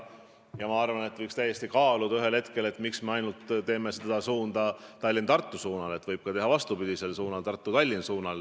Ja ma arvan, et võiks täiesti kaaluda, miks me ainult ehitame seda maanteed suunal Tallinnast Tartusse, võib ka vastupidisel suunal, Tartust Tallinna.